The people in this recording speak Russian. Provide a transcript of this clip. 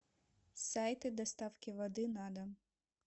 сайты доставки воды на дом